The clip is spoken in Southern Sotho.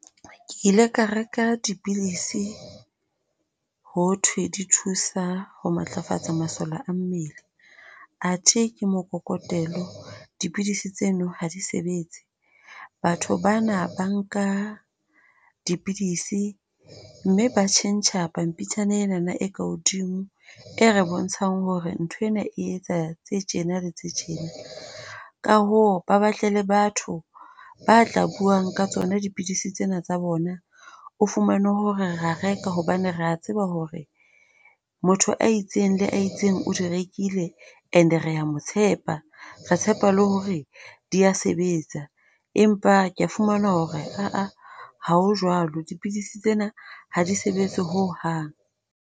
Ke ile ka reka dipidisi ho thwe di thusa ho matlafatsa masole a mmele athe ke mokokotelo. Dipidisi tseno ha di sebetse. Batho bana ba nka dipidisi mme ba tjhentjha pampitshana ena e ka hodimo e re bontshang hore nthwena e etsa tse tjena le tse tjena. Ka hoo ba batle le batho ba tla buang ka tsona dipidisi tsena tsa bona. O fumane hore re a reka hobane re a tseba hore motho a itseng le itseng o di rekile. And re a mo tshepa re tshepa le hore di a sebetsa, empa ke a fumana hore aa ha ho jwalo. Dipidisi tsena ha di sebetse ho hang.